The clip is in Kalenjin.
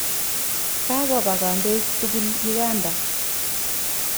Kakopa kandoik tukul Uganda.